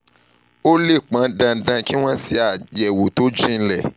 ó lè pọn dandan kí wọ́n ṣe àyẹ̀wò tó jinlẹ̀